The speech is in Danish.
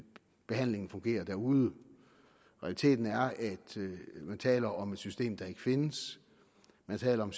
behandlingen fungere derude realiteten er at man taler om et system der ikke findes man taler om